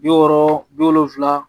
Bi wɔɔrɔ bi wolonfila